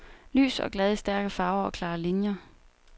Lys og glad i stærke farver og klare linjer.